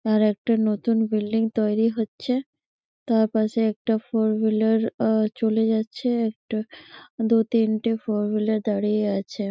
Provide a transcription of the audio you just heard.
আর একটা নতুন বিল্ডিং তৈরি হরচে। তারপাশে একটা ফোরউহিলের চলে যাচ্ছে। দু তিনটে ফোরউহিলের দাঁড়িয়ে আছে।